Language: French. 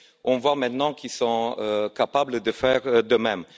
On voit maintenant qu'ils sont capables de faire de même.